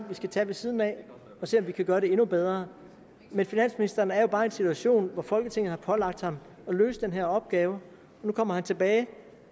vi skal tage ved siden af og se om vi kan gøre det endnu bedre men finansministeren er jo bare i en situation hvor folketinget har pålagt ham at løse den her opgave nu kommer han tilbage